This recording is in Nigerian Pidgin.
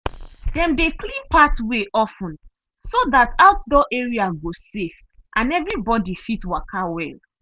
dem dey clear pathway of ten so that outdoor area go safe and everybody fit waka well.